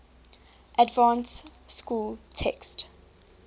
advanced school text